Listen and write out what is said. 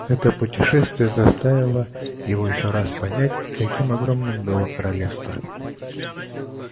это путешествие заставило его ещё раз понять каким огромным было королевство